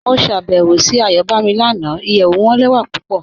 Mo ṣàbẹ́wò sí Ayọ̀bámí lànà, ìyẹ̀wù wọn lẹwa pupọ.